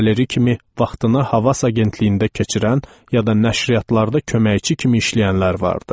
Pol Valeri kimi vaxtını Havas agentliyində keçirən, ya da nəşriyyatlarda köməkçi kimi işləyənlər vardı.